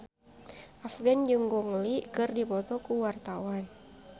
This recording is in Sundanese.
Afgan jeung Gong Li keur dipoto ku wartawan